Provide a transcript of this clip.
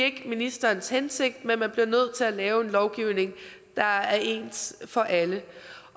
ikke ministerens hensigt men man bliver nødt til at lave en lovgivning der er ens for alle